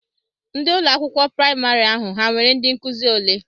Ndị ụlọakwụkwọ praịmarị ahụ ha nwere ndị nkụzi ole?